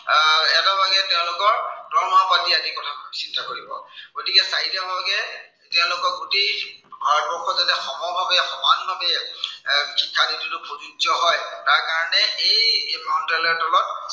দৰমহা আদিৰ কথা চিন্তা কৰিব। গতিকে চাই দিয়া ভাগে তেওঁলোকক গোটেই ভাৰতবৰ্ষত যাতে সমভাৱে, সমান ভাৱে এৰ শিক্ষানীতিটো প্ৰযোজ্য় হয়, তাৰ কাৰনে এই মন্ত্ৰালয়ৰ তলত